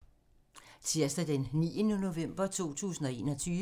Tirsdag d. 9. november 2021